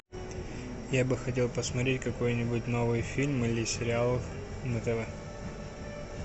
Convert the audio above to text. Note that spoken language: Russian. я бы хотел посмотреть какой нибудь новый фильм или сериал на тв